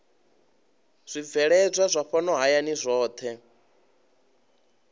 zwibveledzwa zwa fhano hayani zwohe